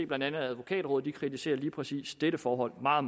blandt andet advokatrådet kritiserer lige præcis dette forhold meget